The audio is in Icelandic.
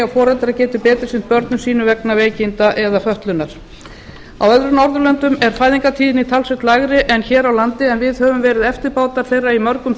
foreldrar geti betur sinnt börnum sínum vegna veikinda eða fötlunar á öðrum norðurlöndum er fæðingartíðni talsvert lægri en hér á landi en við höfum verið eftirbátar þeirra í mörgum